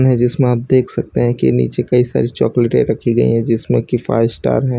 जिसमे आप देख सकते हैं कि नीचे कई सारी चॉकलेटे रखी गई हैं जिसमें की फाइव स्टार है।